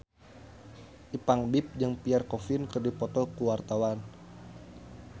Ipank BIP jeung Pierre Coffin keur dipoto ku wartawan